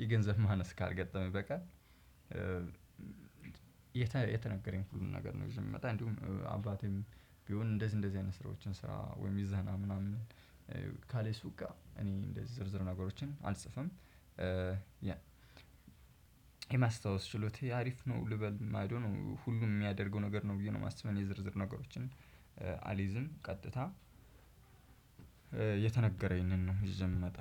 ይህ ገንዘብ ማነስ ካልገጠመኝ በቀር። የተነገረኝ ሁሉን ነገር ነው ይዤ የምመጣ። እንዲሁም አባቴም ቢሆን እንደዚህ እንደዚህ አይነት ስራዎችን ስራ ወይም ይዘህና ምናምን ካሌሱ ጋር እኔ እንደዚህ ዝርዝር ነገሮችን አልጽፍም። የማስታወስ ችሎታዬ አሪፍ ነው ልበል አይዶኖ ሁሉም ሚያደርገው ነገር ነው ብዬ ነው ማስበው። እኔ ዝርዝር ነገሮችን አሊዝም። ቀጥታ የተነገረኝን ነው ይዤ ምመጣ።